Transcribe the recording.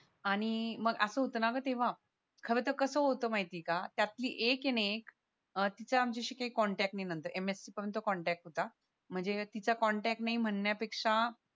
आणि मग असं होत ना मग तेव्हा खरं तर कसं होत माहितीये का त्यातली एक ये ना एक अह तिचं आमच्याशी काही कोणताच कॉन्टॅक्ट नाही म्हणण्या पेक्षा